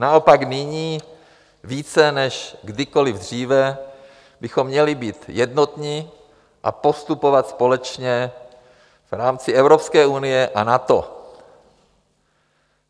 Naopak, nyní více než kdykoliv dříve bychom měli být jednotní a postupovat společně v rámci Evropské unie a NATO.